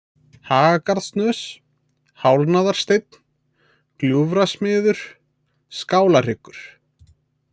Hagagarðssnös, Hálfnaðarsteinn, Gljúfrasmiður, Skálahryggur